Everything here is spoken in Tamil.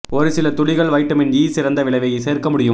ஒரு சில துளிகள் வைட்டமின் ஈ சிறந்த விளைவை சேர்க்க முடியும்